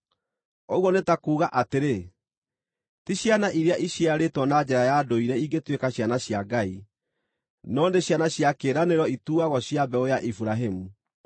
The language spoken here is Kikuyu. Ũguo nĩ ta kuuga atĩrĩ, ti ciana iria iciarĩtwo na njĩra ya ndũire ingĩtuĩka ciana cia Ngai, no nĩ ciana cia kĩĩranĩro ituuagwo cia mbeũ ya Iburahĩmu.